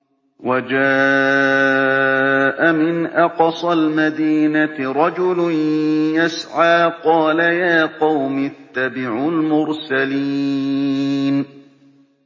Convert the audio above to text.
وَجَاءَ مِنْ أَقْصَى الْمَدِينَةِ رَجُلٌ يَسْعَىٰ قَالَ يَا قَوْمِ اتَّبِعُوا الْمُرْسَلِينَ